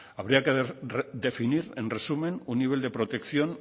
habría que definir en resumen un nivel de protección